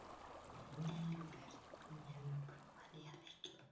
Elínbjört, hefur þú prófað nýja leikinn?